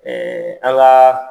Ɛɛ an ka